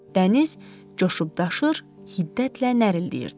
Dəniz coşub daşır, hiddətlə nərilləyirdi.